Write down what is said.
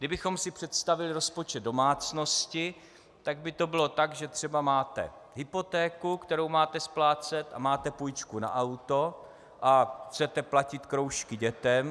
Kdybychom si představili rozpočet domácnosti, tak by to bylo tak, že třeba máte hypotéku, kterou máte splácet, a máte půjčku na auto a chcete platit kroužky dětem.